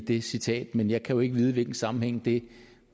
det citat men jeg kan jo ikke vide hvilken sammenhæng det